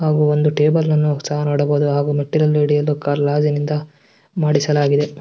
ಹಾಗು ಒಂದು ಟೇಬಲ್ ಅನ್ನು ಸಹ ನೋಡಬುದು ಹಾಗು ಮಾಡಿಸಲಾಗಿದೆ.